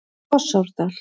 Fossárdal